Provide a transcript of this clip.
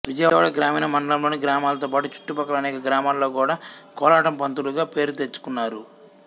విజయవాడ గ్రామీణ మండలంలోని గ్రామాలతోపాటు చుట్టుప్రక్కల అనేక గ్రామాలలో గూడా కోలాటం పంతులుగా పేరు తెచ్చుకున్నారు